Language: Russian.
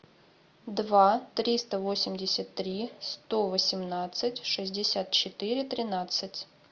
два триста восемьдесят три сто восемнадцать шестьдесят четыре тринадцать